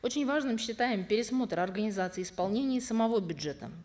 очень важным считаем пересмотр организации исполнения самого бюджета